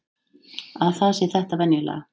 Að það sé þetta venjulega.